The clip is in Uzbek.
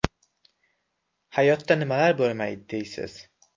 Hayotda nimalar bo‘lmaydi, deysiz.